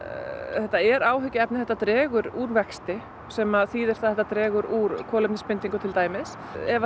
þetta er áhyggjuefni þetta dregur úr vexti sem að þýðir að þetta dregur úr kolefnisbindingu ef